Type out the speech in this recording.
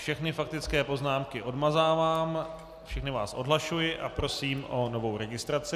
Všechny faktické poznámky odmazávám, všechny vás odhlašuji a prosím o novou registraci.